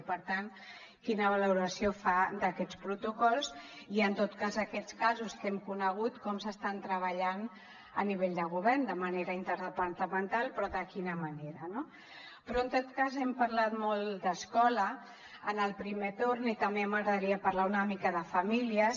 i per tant quina valoració fa d’aquests protocols i en tot cas aquests casos que hem conegut com s’estan treballant a nivell de govern de manera interdepartamental però de quina manera no però en tot cas hem parlat molt d’escola en el primer torn i també m’agradaria parlar una mica de famílies